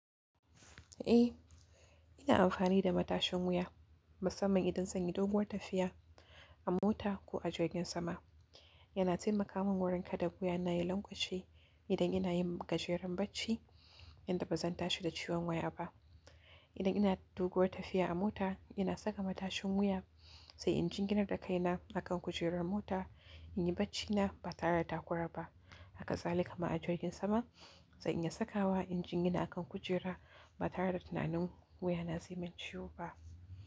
Eh, ina amfani da matashin wuya musamman idan zan yi doguwar tafiya a mota ko a jirgin sama. Yana taimaka min wurin kada wuya na ya lanƙwashe idan ina yin gajaren barci, yanda ba zan tashi da ciwon wuya ba idan ina da doguwar tafiya a mota ina saka matashin wuya. Sai in jinginar da kai na akan kujerar mota in yi barci na ba tare da takura ba. Haka za ni yi kuma a jirgin sama. Zan iya sakawa in jingina akan kujera ba tare da tunani wuya na zai yi min ciwo ba.